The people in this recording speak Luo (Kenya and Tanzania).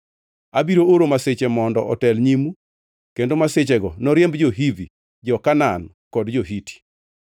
Abiro oro masiche mondo otel nyimu kendo masichego noriemb jo-Hivi, jo-Kanaan kod jo-Hiti.